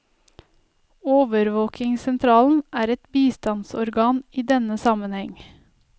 Overvåkingssentralen er et bistandsorgan i denne sammenheng.